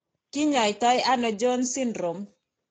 Kiny'aayto ano Jones syndrome?